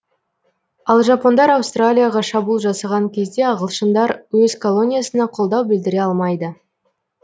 ал жапондар аустралияға шабуыл жасаған кезде ағылшындар өз колониясына қолдау білдіре алмайды